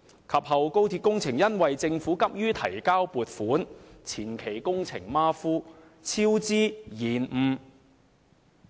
之後，高鐵工程因為政府急於提交撥款申請，前期工程馬虎，出現超支及延誤，而